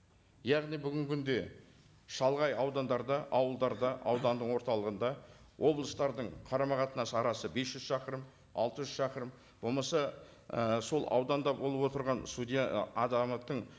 яғни бүгінгі күнде шалғай аудандарда ауылдарда ауданның орталығында облыстардың қарама қатынас арасы бес жүз шақырым алты жүз шақырым болмаса і сол ауданда болып отырған судья ы азаматтың